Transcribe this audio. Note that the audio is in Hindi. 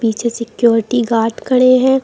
पीछे सिक्योरिटी गार्ड खड़े हैं।